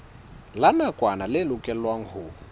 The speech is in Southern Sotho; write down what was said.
la nakwana le lokelwang ho